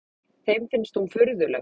Þeim finnst hún furðuleg.